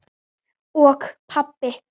og pabbi.